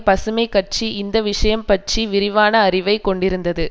பசுமை கட்சி இந்த விஷயம் பற்றி விரிவான அறிவை கொண்டிருந்தது